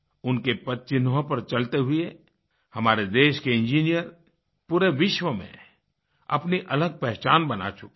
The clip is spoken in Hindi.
उनके पद चिन्हों पर चलते हुए हमारे देश के इंजीनियर पूरे विश्व में अपनी अलग पहचान बना चुके हैं